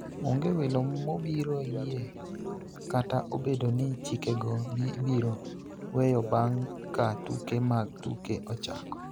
onge welo mobiro yie kata obedo ni chikego ibiro weyo bang� ka tuke mag tuke ochako.